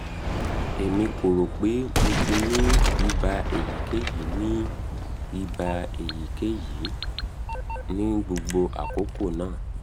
emi ko ro pe mo ti ni iba eyikeyi ni iba eyikeyi ni gbogbo akoko naa